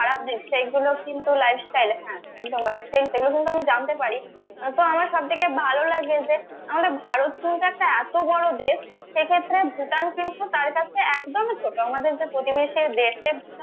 খারাপ দিক সেগুলো কিন্তু lifestyle হ্যা একদম lifestyle সেগুলো কিন্তু আমরা জানতে পারি তো আমার সবথেকে ভালো লাগে যে আমাদের ভারত কিন্তু এত বড় একটা দেশ